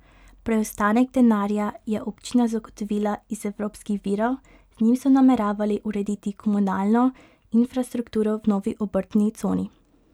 Preostanek denarja je občina zagotovila iz evropskih virov, z njim so nameravali urediti komunalno infrastrukturo v novi obrtni coni.